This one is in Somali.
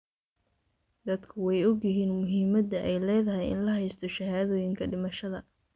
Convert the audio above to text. Dadku way ogyihiin muhiimadda ay leedahay in la haysto shahaadooyinka dhimashada.